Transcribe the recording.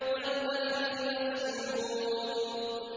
وَالْبَحْرِ الْمَسْجُورِ